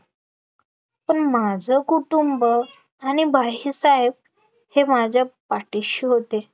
पण माझं कुटुंब आणि बाहीसाहेब हे माझ्या पाठीशी होते